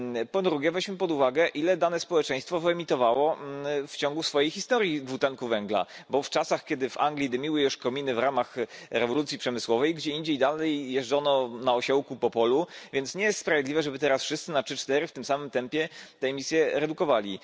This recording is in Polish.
Po drugie, weźmy pod uwagę, ile dane społeczeństwo wyemitowało w ciągu swojej historii dwutlenku węgla, bo w czasach, kiedy w Anglii dymiły już kominy w ramach rewolucji przemysłowej, gdzie indziej dalej jeżdżono na osiołku po polu, więc nie jest niesprawiedliwe, żeby teraz wszyscy na w tym samym tempie te emisje redukowali.